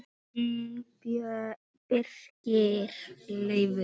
Þinn Birgir Leifur.